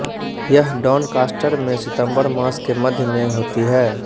यह डॉनकास्टर में सितंबर मास के मध्य में होती है